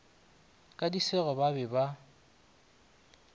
ka disego ba be ba